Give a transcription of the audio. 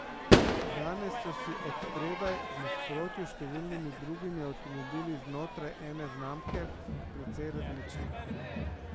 Danes so si od spredaj, v nasprotju s številnimi drugimi avtomobili znotraj ene znamke, precej različni.